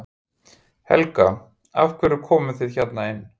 Helga: Af hverju komuð þið hérna inn?